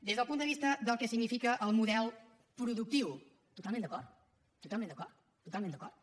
des del punt de vista del que significa el model productiu totalment d’acord totalment d’acord